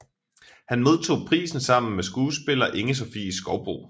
Han modtog prisen sammen med skuespiller Inge Sofie Skovbo